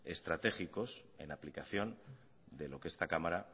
estratégicos en aplicación de lo que esta cámara